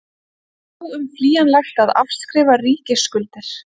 Þá kemur stór líkami sér einnig vel.